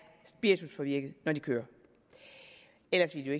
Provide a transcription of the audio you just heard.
spirituspåvirkede når de kører ellers ville